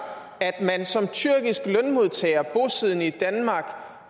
at man som tyrkisk lønmodtager bosiddende i danmark